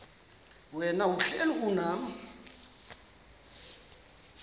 wena uhlel unam